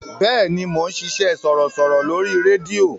Bẹ́ẹ̀ni, mò ń ṣiṣẹ́ sọ̀rọ̀sọ̀rọ̀ lórí rédíò.